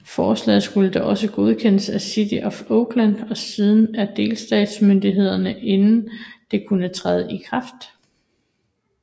Forslaget skulle dog også godkendes af City of Oakland og siden af delstatsmyndighederne inden det kunne træde i kraft